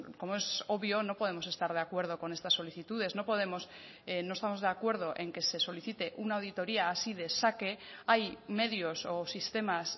como es obvio no podemos estar de acuerdo con estas solicitudes no podemos no estamos de acuerdo en que se solicite una auditoría así de saque hay medios o sistemas